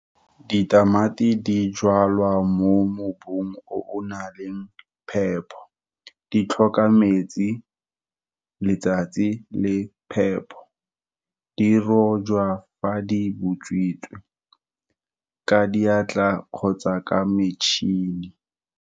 Ditamati di jalwa mo mobung o o nang le phepo, di tlhoka metsi, letsatsi, le phepo. Di rojwa fa di botswitse, ka diatla, kgotsa ka metšhini.